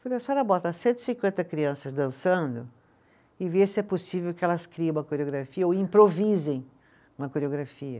Falei, a senhora bota cento e cinquenta crianças dançando e vê se é possível que elas criem uma coreografia ou improvisem uma coreografia.